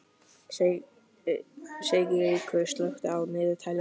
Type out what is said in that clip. Sigríkur, slökktu á niðurteljaranum.